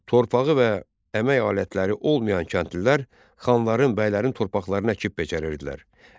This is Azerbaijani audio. Torpağı və əmək alətləri olmayan kəndlilər xanların, bəylərin torpaqlarını əkib becərirdilər.